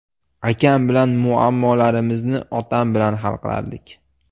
Akam bilan muammolarimizni otam bilan hal qilardik.